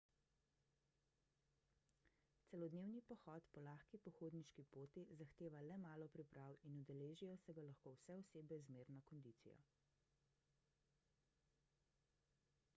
celodnevni pohod po lahki pohodniški poti zahteva le malo priprav in udeležijo se ga lahko vse osebe z zmerno kondicijo